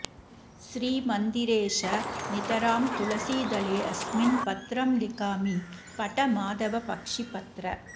श्रीमन्दिरेश नितरां तुलसीदलेऽस्मिन् पत्रं लिखामि पठ माधव पक्षिपत्र